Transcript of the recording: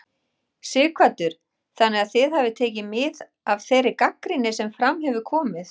Sighvatur: Þannig að þið hafið tekið mið af þeirri gagnrýni sem fram hefur komið?